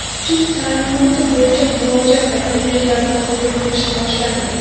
suv taʼminoti bo‘yicha murojaat va takliflarni qabul qilish boshlandi.